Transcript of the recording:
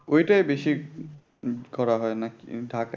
ঐটাই বেশি উহ উম করা হয় নাকি ঢাকায়